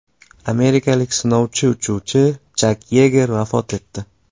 Amerikalik sinovchi-uchuvchi Chak Yeger vafot etdi.